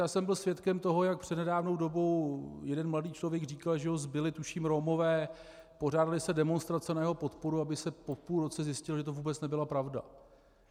Já jsem byl svědkem toho, jak před nedávnou dobou jeden mladý člověk říkal, že ho zbili tuším Romové, pořádaly se demonstrace na jeho podporu, aby se po půl roce zjistilo, že to vůbec nebyla pravda.